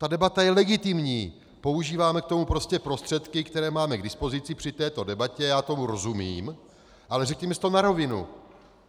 Ta debata je legitimní, používáme k tomu prostě prostředky, které máme k dispozici při této debatě, já tomu rozumím, ale řekněme si to na rovinu.